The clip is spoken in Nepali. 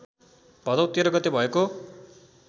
भदौ १३ गते भएको